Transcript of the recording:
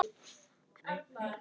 Gott geymi mömmu mína.